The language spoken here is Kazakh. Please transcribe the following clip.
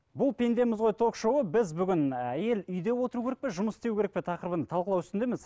бұл пендеміз ғой ток шоуы біз бүгін і әйел үйде отыру керек пе жұмыс істеу керек пе тақырыбын талқылау үстіндеміз